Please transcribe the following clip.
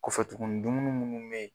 Kɔfɛ tuguni dumuni munnu bɛ yen